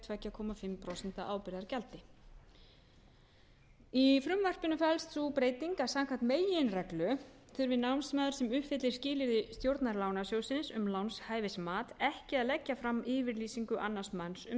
tveimur og hálft prósent ábyrgðargjaldi í frumvarpinu felst sú breyting að samkvæmt meginreglu þurfi námsmaður sem uppfyllir skilyrði stjórnar lánasjóðsins um lánshæfismat ekki að leggja fram yfirlýsingu annars manns um